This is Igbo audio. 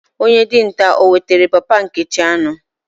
Onye dinta o wetara papa Nkechi anu?